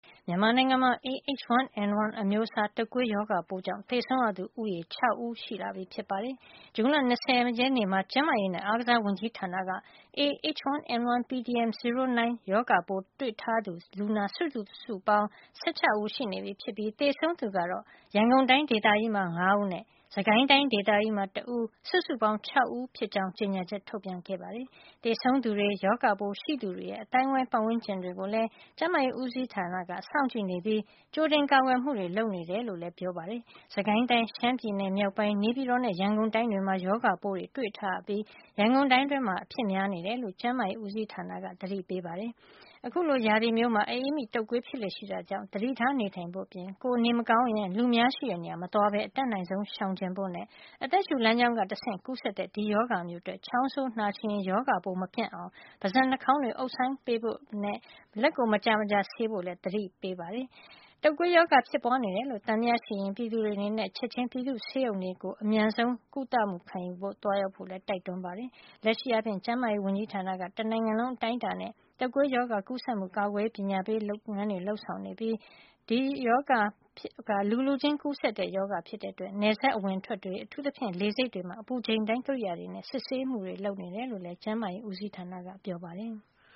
မြန်မာနိုင်ငံမှာ A- H1N1 အမျိုးအစား တုပ်ကွေးရောဂါပိုးကြောင့် သေဆုံးသူဦးရေ ၆ ဦး ထိရှိနေပြီဖြစ်ပါတယ်။ ဇွန်လ ၂၀ ရက်နေ့မှာ ကျန်းမာရေးနဲ့ အားကစား ဝန်ကြီးဌာက A- H1N1 pdm 09 ရောဂါပိုးတွေ့ရှိထားသူ လူနာစုစုပေါင်း ၁၆ ဦး ရှိနေပြီး သေဆုံးသူကတော့ ရန်ကုန်တိုင်း ဒေသကြီးမှာ ၅ ဦးနဲ့ စစ်ကိုင်းတိုင်း ဒေသကြီးမှာ တဦး စုစုပေါင်း ၆ ဦးဖြစ်ကြောင်း ကြေညာချက်ထုတ်ပြန်ခဲ့ပါတယ်။ သေဆုံးသူတွေ ၊ရောဂါပိုးရှိသူတွေရဲ့ အသိုင်းအဝိုင်း ပတ်ဝန်းကျင်တွေကိုလည်း ကျန်းမာရေးဦးစီးဌာနက စောင့်ကြည့်နေပြီး ကြိုတင်ကာကွယ်မှုတွေ လုပ်နေတယ်လို့လည်း ကျန်းမာရေးတာဝန်ခံတွေက ပြောပါတယ်။ စစ်ကိုင်းတိုင်း၊ ရှမ်းပြည်နယ်မြောက်ပိုင်း ၊နေပြည်တော်နဲ့ ရန်ကုန်တိုင်းတွေမှာ ရောဂါပိုးတွေ တွေ့ထားရပြီး ရန်ကုန်တိုင်းတွင်းမှာ အဖြစ်များနေတယ်လို့ ကျန်းမာရေးဦးစီးဌာနက အသိပေးထားပါတယ်။ အခုလို ရာသီမျိုးမှာ အအေးမိ၊ တုပ်ကွေးဖြစ်လေ့ရှိတာကြောင့် သတိထားနေထိုင်ဖို့ အပြင် ကိုယ်က နေထိုင်မကောင်းဘူးဆိုရင် လူအများရှိတဲ့နေရာကို မသွားလာပဲ အတတ်နိုင်ဆုံးရှောင်ကြဉ်ကြဖို့ နဲ့ အသက်ရှုလမ်းကြောင်းကနေ တဆင့်ကူးတဲ့ ဒီရောဂါမျိုးအတွက် ချောင်းဆိုး နှာချေရင် ရောဂါပိုးမပြန့်ပွားအောင် ပါးစပ် နှာခေါင်းတွေကို အုပ်ဆိုင်းပေးဖို့ လက်ကို မကြာမကြာ ဆေးကြောဖို့ လည်း သတိပေးထားပါတယ်။ တုပ်ကွေးရောဂါဖြစ်ပွားနေတယ်လို့ သံသယရှိရင် ပြည်သူတွေအနေနဲ့ ချက်ချင်း ပြည်သူ့ဆေးရုံတွေဆီကို အမြန်ဆုံးကုလမှု လာရောက်ခံယူကြဖို့လည်း တိုက်တွန်းပါတယ်။ လက်ရှိအားဖြင့်တေ့ာ ကျန်းမာရေးဝန်ကြီးဌာန တနိုင်ငံလုံးအတိုင်းအတာနဲ H1N1 တုပ်ကွေးရောဂါ ကူးစက်မှု ကာကွယ်ရေး ပညာပေးလုပ်ငန်းတွေ လုပ်ဆောင်နေပါတယ်။ လူလူချင်း ကူးစက်တဲ့ ရောဂါဖြစ်တဲ့အတွက် နယ်စပ်အဝင်အထွက်တွေ ၊ အထူးသဖြင့် လေဆိပ်တွေမှာ အပူချိန်တိုင်း ကိရိယာတွေနဲ့ စစ်ဆေးမှုတွေ ပြုလုပ်နေတယ်လို့ လည်း ကျန်းမာရေးဦးစီးဌာနကပြောပါတယ်။